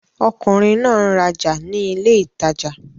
Ọmọkùnrin náà n raja ni ilé ìtajà